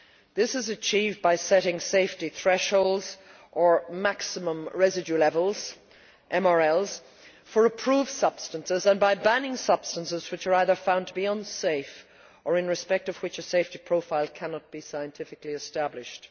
This is achieved by setting safety thresholds or maximum residue levels for approved substances and by banning substances which are either found to be unsafe or in respect of which a safety profile cannot be scientifically established.